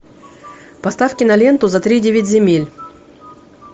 поставь киноленту за тридевять земель